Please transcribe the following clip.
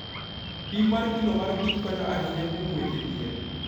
Pim mar kilo mar kich konyo ahinya kuom weche thieth.